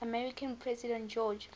american president george